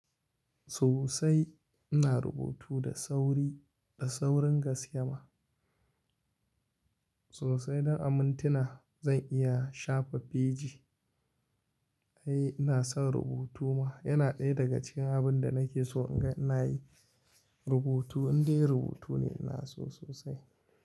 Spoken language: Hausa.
Sosai ina rubutu da sauri, da saurin gas kema. Sosai don amintina zan iya shafa feji. Ai ina son rubutu ma yana ɗaya daga cikin abin da nake so inga inayi rubutu indai rubutu ne ina so sosai.